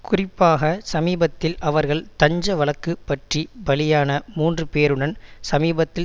குறிப்பாக சமீபத்தில் அவர்கள் தஞ்ச வழக்கு பற்றி பலியான மூன்று பேருடன் சமீபத்தில்